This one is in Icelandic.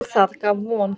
Og það gaf von.